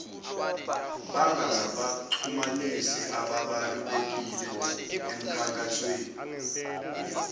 bangabaxhumanisi ababalulekile emkhankasweni